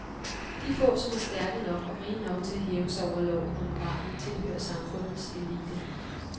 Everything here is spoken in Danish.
De få, som er stærke nok og rige nok til at hæve sig over loven og moralen, tilhører samfundets elite.